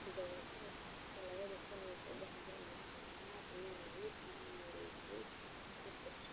Doorashada sanadka laba kun iyo saddex iyo toban ayaa ahayd tii ugu horeysay ee dastuurka cusub.